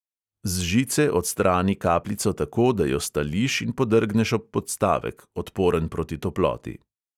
Z žice odstrani kapljico tako, da jo stališ in podrgneš ob podstavek, odporen proti toploti.